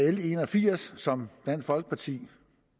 l en og firs som dansk folkeparti